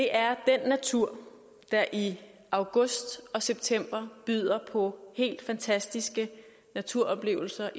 er den natur der i august og september byder på helt fantastiske naturoplevelser